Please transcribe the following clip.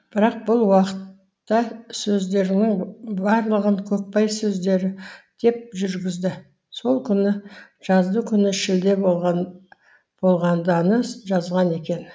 бірақ бұл уақытта сөздерінің барлығын көкбай сөздері деп жүргізді сол күні жаздыгүні шілде болғанданы жазған екен